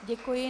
Děkuji.